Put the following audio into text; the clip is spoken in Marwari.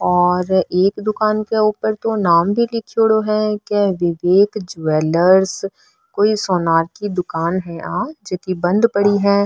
और एक दुकान के ऊपर तो नाम भी लीखेड़ो है विवेक ज्वेलर कोई सोनार की दुकान है जकी बंद पड़ी है।